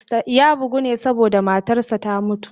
Ya bugu ne saboda matarsa ​​ta mutu.